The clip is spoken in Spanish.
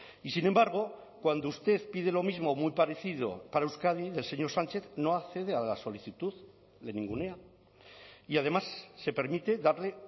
y sin embargo cuando usted pide lo mismo o muy parecido para euskadi del señor sánchez no accede a la solicitud le ningunea y además se permite darle